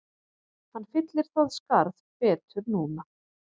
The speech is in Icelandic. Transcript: Hann fyllir það skarð betur núna